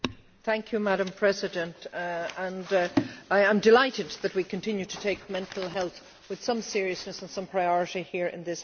Madam President, I am delighted that we continue to take mental health with some seriousness and some priority here in this House.